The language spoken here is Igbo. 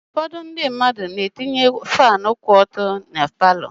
Ụfọdụ ndị mmadụ na-etinye faanụ kwụ ọtọ na paalọ.